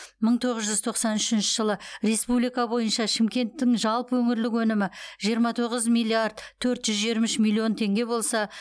мың тоғыз жүз тоқсан үшінші жылы республика бойынша шымкенттің жалпы өңірлік өнімі жиырма тоғыз миллиард төрт жүз жиырма үш миллион теңге болса